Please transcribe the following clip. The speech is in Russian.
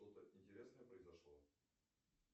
что то интересное произошло